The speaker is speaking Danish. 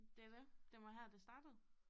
Det er det det var her det startede